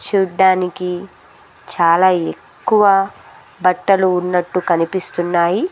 చుడ్డానికి చాలా ఎక్కువ బట్టలు ఉన్నట్టు కనిపిస్తున్నాయి.